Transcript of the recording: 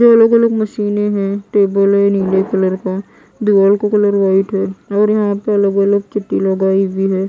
ये अलग-अलग मशीनें हैं टेबल है नीले कलर का दीवाल का कलर वाइट है और यहाँ पर अलग-अलग लगाई हुई हैं।